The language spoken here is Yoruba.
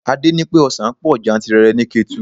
Adé ní pé ọsan pọ̀ jantìrẹrẹ ni Ketu.